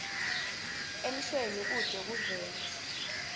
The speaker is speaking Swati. emshweni kute kuvele